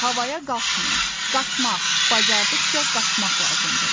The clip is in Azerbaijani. Havaya qalxmayın, qaçmaq, bacardıqca qaçmaq lazımdır.